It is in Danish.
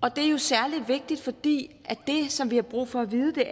og det er særlig vigtigt fordi det som vi har brug for at vide